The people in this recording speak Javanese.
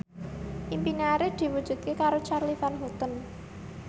impine Arif diwujudke karo Charly Van Houten